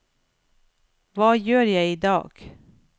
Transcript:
hva gjør jeg idag